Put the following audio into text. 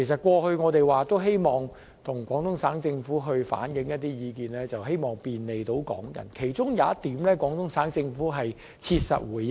過去我們也曾向廣東省政府反映意見，希望能便利港人到內地工作，其中一點終於獲廣東省政府切實回應。